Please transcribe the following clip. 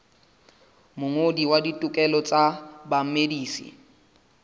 mongodisi wa ditokelo tsa bamedisi